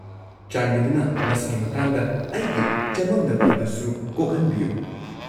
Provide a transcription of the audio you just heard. ꯆꯥꯟꯕꯤꯗꯨꯅ ꯃꯁꯤꯒꯤ ꯃꯇꯥꯡꯗ ꯑꯩꯒꯤ ꯆꯃꯝꯅꯕ ꯑꯗꯨꯁꯨ ꯀꯣꯛꯍꯟꯕꯤꯌꯨ꯫